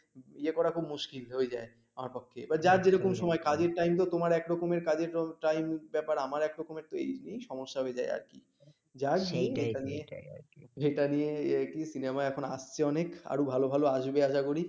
যেটা নিয়ে cinema এখন কি আসছে অনেক আরো ভালো ভালো আসবে আশা করি